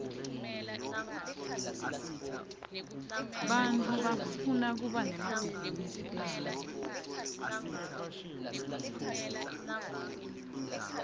bantfu bafuna kuba nemabhizinisi abo